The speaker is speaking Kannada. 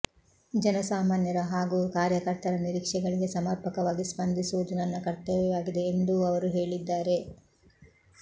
ಜನ ಸಾಮಾನ್ಯರ ಹಾಗೂ ಕಾರ್ಯಕರ್ತರ ನಿರೀಕ್ಷೆಗಳಿಗೆ ಸಮರ್ಪಕವಾಗಿ ಸ್ಪಂದಿಸುವುದು ನನ್ನ ಕರ್ತವ್ಯವಾಗಿದೆ ಎಂದೂ ಅವರು ಹೇಳಿದ್ದಾರೆ